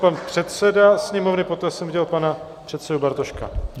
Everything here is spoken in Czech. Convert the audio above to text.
Pan předseda Sněmovny, poté jsem viděl pana předsedu Bartoška.